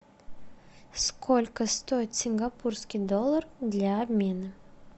сколько стоит сингапурский доллар для обмена